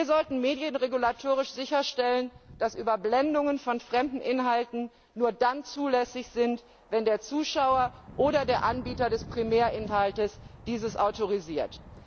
Wir sollten medienregulatorisch sicherstellen, dass Überblendungen von fremden Inhalten nur dann zulässig sind, wenn der Zuschauer oder der Anbieter des Primärinhalts dies autorisiert.